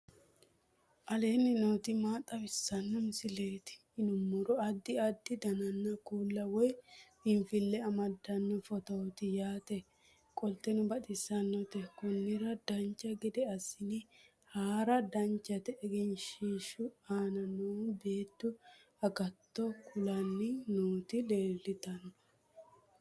aleenni nooti maa xawisanno misileeti yinummoro addi addi dananna kuula woy biinsille amaddino footooti yaate qoltenno baxissannote konnira dancha gede assine haara danchate egenshshishu aana noou beettu agatto kulanni nooti leeltanno